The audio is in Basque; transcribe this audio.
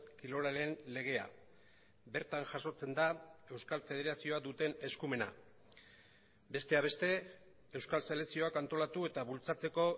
kirolaren legea bertan jasotzen da euskal federazioa duten eskumena besteak beste euskal selekzioak antolatu eta bultzatzeko